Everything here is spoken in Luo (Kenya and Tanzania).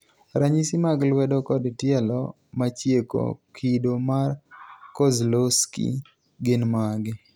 ranyisi mag lwedo kod tielo machieko kido mar Kozlowski gin mage?